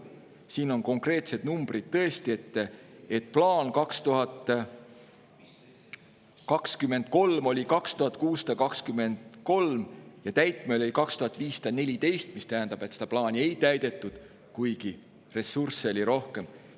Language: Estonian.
Siin on konkreetsed numbrid, tõesti: plaan oli 2023. aastal 3623 ja täitmine oli 3514, mis tähendab, et seda plaani ei täidetud, kuigi ressursse oli rohkem.